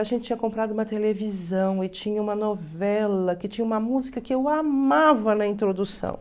A gente tinha comprado uma televisão e tinha uma novela que tinha uma música que eu amava na introdução.